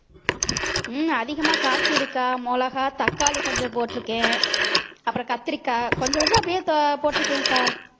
ஹம் அதிகமா காய்க்குதுக்கா மிளகாய், தக்காளி கொஞ்சம் போட்டிருக்கேன் அப்புறம் கத்தரிக்காய் கொஞ்சம் கொஞ்சம் அப்படியே தோ~ போட்டிருக்கேன்கா